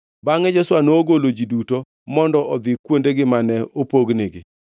Bangʼe Joshua nogolo ji duto mondo odhi kuondegi mane opognigi.